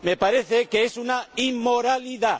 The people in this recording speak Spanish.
Me parece que es una inmoralidad.